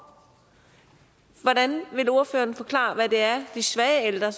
hvordan vil ordføreren forklare hvad det er de svage ældre